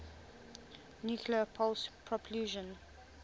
nuclear pulse propulsion